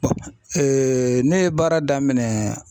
ne ye baara daminɛ